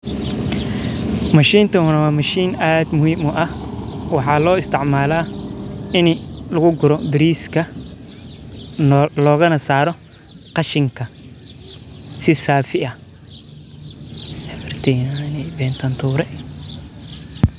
Mashintan waa mashiin aad muhiim uah maxa loo isticmala in laguguro grass ka loganasaaro qashinka si saafi ah.